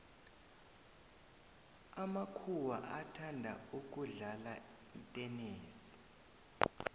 amakuhwa athanda ukudlala itenesi